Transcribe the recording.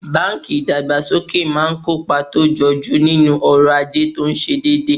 banki idagbasoke maa n kopa to joju ninu oro aje to se ndide